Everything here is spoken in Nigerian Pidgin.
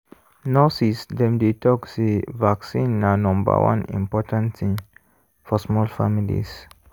nurses dem dey talk say vaccine na number one important thing for small families.